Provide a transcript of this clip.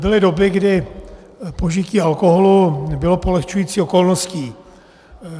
Byly doby, kdy požití alkoholu bylo polehčující okolností.